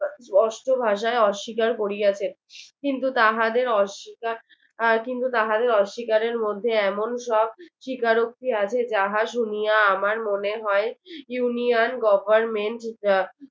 অষ্ট ভাষায় অস্বীকার করিয়াছে কিন্তু তাহাদের অস্বীকার আহ কিন্তু তাহাদের অস্বীকারের মধ্যে এমন সব স্বীকারোক্তি আছে যাহা শুনিয়া আমার মনে হয় union government আহ